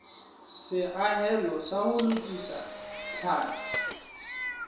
seahelo sa ho lokisa tlhapi